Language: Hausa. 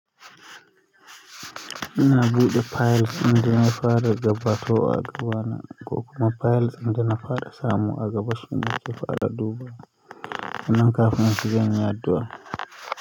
Ina buɗe files inda na fara gabato a dubana, ko kuma files ɗin dana fara samu a gaba suna nake fara da duba. Nan kafin su zanyi addu'a.